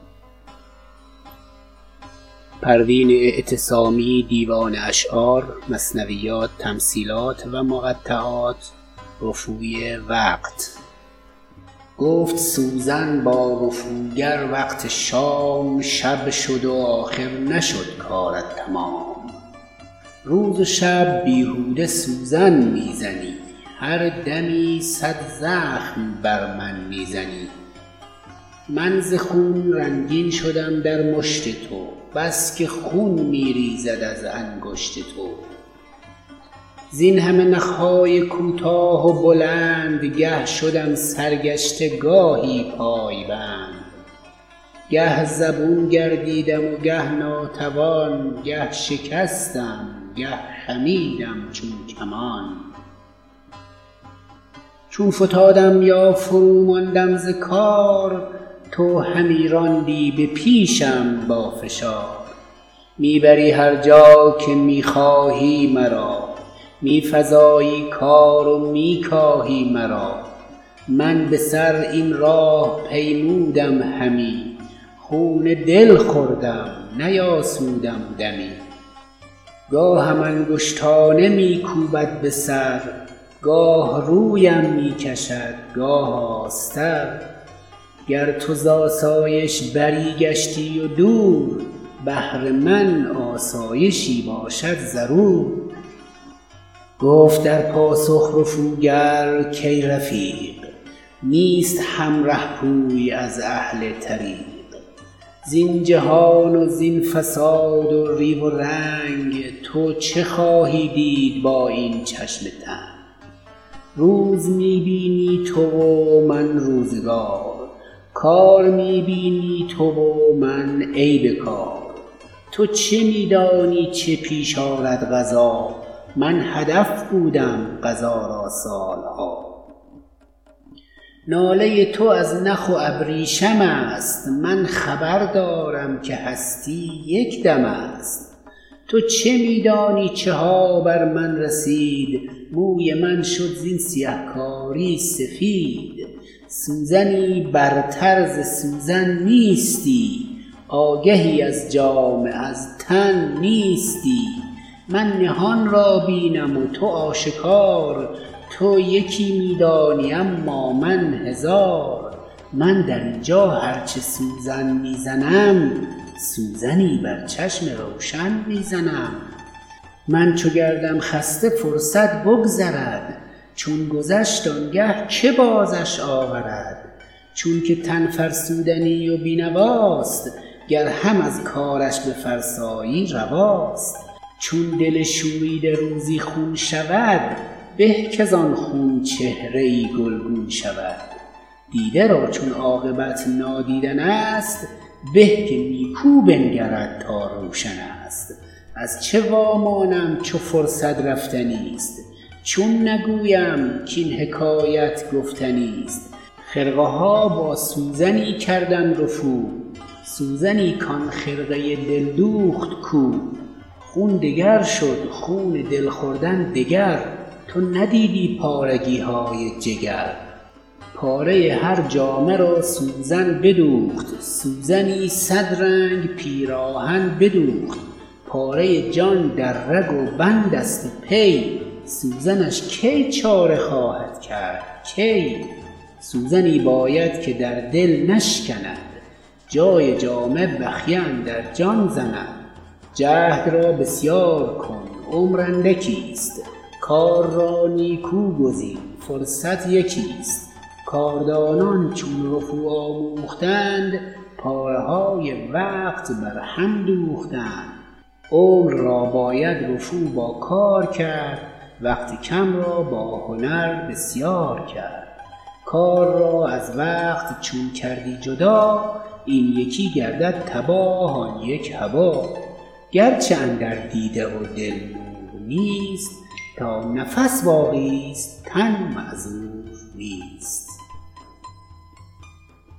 گفت سوزن با رفوگر وقت شام شب شد و آخر نشد کارت تمام روز و شب بیهوده سوزن میزنی هر دمی صد زخم بر من میزنی من ز خون رنگین شدم در مشت تو بسکه خون میریزد از انگشت تو زینهمه نخهای کوتاه و بلند گه شدم سرگشته گاهی پایبند گه زبون گردیدم و گه ناتوان گه شکستم گه خمیدم چون کمان چون فتادم یا فروماندم ز کار تو همی راندی به پیشم با فشار میبری هر جا که میخواهی مرا میفزایی کار و میکاهی مرا من بسر این راه پیمودم همی خون دل خوردم نیاسودم دمی گاهم انگشتانه میکوبد بسر گاه رویم میکشد گاه آستر گر تو زاسایش بری گشتی و دور بهر من آسایشی باشد ضرور گفت در پاسخ رفوگر کای رفیق نیست هر رهپوی از اهل طریق زین جهان و زین فساد و ریو و رنگ تو چه خواهی دید با این چشم تنگ روز می بینی تو و من روزگار کار می بینی تو و من عیب کار تو چه میدانی چه پیش آرد قضا من هدف بودم قضا را سالها ناله تو از نخ و ابریشم است من خبردارم که هستی یکدم است تو چه میدانی چها بر من رسید موی من شد زین سیهکاری سفید سوزنی برتر ز سوزن نیستی آگهی از جامه از تن نیستی من نهان را بینم و تو آشکار تو یکی میدانی اما من هزار من درینجا هر چه سوزن میزنم سوزنی بر چشم روشن می زنم من چو گردم خسته فرصت بگذرد چون گذشت آنگه که بازش آورد چونکه تن فرسودنی و بینواست گر هم از کارش بفرسایی رواست چون دل شوریده روزی خون شود به کاز آن خون چهره ای گلگون شود دیده را چون عاقبت نادیدن است به که نیکو بنگرد تا روشن است از چه وامانم چو فرصت رفتنی است چون نگویم کاین حکایت گفتنی است خرقه ها با سوزنی کردم رفو سوزنی کن خرقه دل دوخت کو خون دگر شد خون دل خوردن دگر تو ندیدی پارگیهای جگر پاره هر جامه را سوزن بدوخت سوزنی صد رنگ پیراهن بدوخت پاره جان در رگ و بند است و پی سوزنش کی چاره خواهد کرد کی سوزنی باید که در دل نشکند جای جامه بخیه اندر جان زند جهد را بسیار کن عمر اندکی است کار را نیکو گزین فرصت یکی است کاردانان چون رفو آموختند پاره های وقت بر هم دوختند عمر را باید رفو با کار کرد وقت کم را با هنر بسیار کرد کار را از وقت چون کردی جدا این یکی گردد تباه آن یک هبا گرچه اندر دیده و دل نور نیست تا نفس باقی است تن معذور نیست